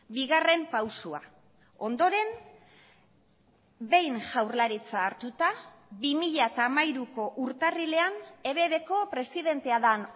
bigarren pausua ondoren behin jaurlaritza hartuta bi mila hamairuko urtarrilean ebbko presidentea den